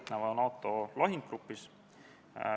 Kohaloleku kontroll, palun!